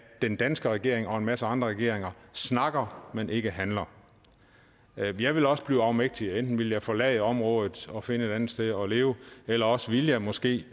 den danske regering og en masse andre regeringer snakker men ikke handler jeg ville også blive afmægtig enten ville jeg forlade området og finde et andet sted at leve eller også ville jeg måske